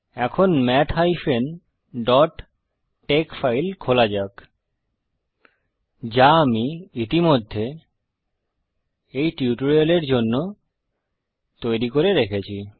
এখন math bpটেক্স file খোলা যাক যা আমি ইতিমধ্যে এই টিউটোরিয়ালের জন্য তৈরি করে রেখেছি